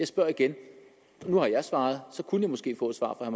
spørge igen nu har jeg svaret så kunne vi måske få svar fra